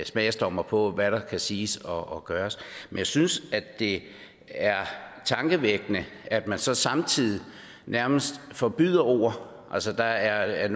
smagsdommere på hvad der kan siges og gøres men jeg synes det er tankevækkende at man så samtidig nærmest forbyder ord altså der er